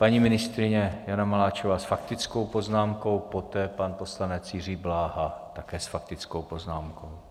Paní ministryně Jana Maláčová s faktickou poznámkou, poté pan poslanec Jiří Bláha, také s faktickou poznámkou.